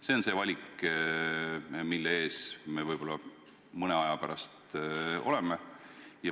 See on see valik, mille ees me võib-olla mõne aja pärast oleme.